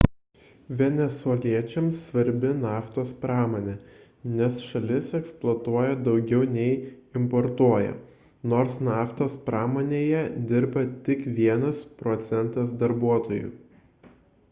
venesueliečiams svarbi naftos pramonė nes šalis eksportuotoja daugiau nei importuoja nors naftos pramonėje dirba tik vienas procentas darbuotojų